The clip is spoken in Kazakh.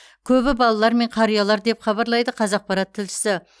көбі балалар мен қариялар деп хабарлайды қазақпарат тілшісі